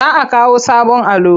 Za a kawo sabon allo.